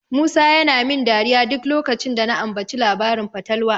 Musa yana min dariya duk lokacin da na ambaci labarin fatalwa.